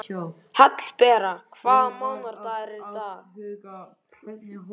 Hallbera, hvaða mánaðardagur er í dag?